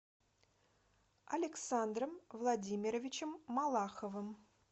александром владимировичем малаховым